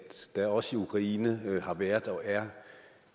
der er også i ukraine har været og er